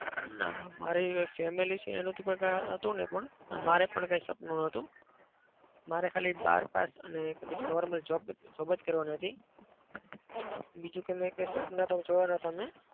ના. મારી family છે ને એનું તો કઈ હતું નહિ પણ અને મારે પણ કોઈ સપનું નતું. મારે ખાલી બાર પાસ અને એક normal job job જ કરવાની હતી. બીજું કઈ મેં સપન તો જોયા નતા મેં.